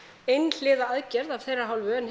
einhliða aðgerð af þeirra hálfu en